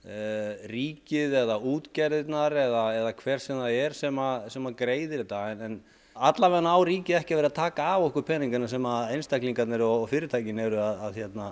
ríkið eða útgerðirnar eða hver sem það er sem sem greiðir þetta en allavega á ríkið ekki að vera að taka af okkur peningana sem einstaklingarnir og fyrirtækin eru að